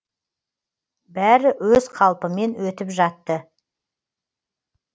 бәрі өз қалпымен өтіп жатты